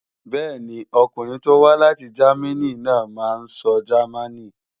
Bẹ́ẹ̀ni, ọkùnrin tó wá láti Jámínì náà máa sọ Jámánì.